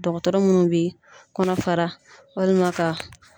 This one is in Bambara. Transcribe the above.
Dɔgɔtɔrɔ munnu bi kɔnɔ fara walima ka